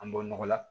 An bɔ nɔgɔ la